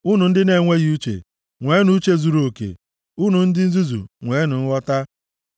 Unu ndị na-enweghị uche, nweenụ uche zuruoke; unu ndị nzuzu, nweenụ nghọta.